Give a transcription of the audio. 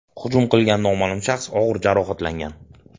Hujum qilgan noma’lum shaxs og‘ir jarohatlangan.